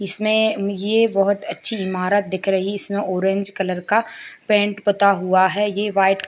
इसमें ये बहुत अच्छी इमारत दिख रही इसमें ऑरेंज कलर का पेंट पोता हुआ है ये व्हाइट --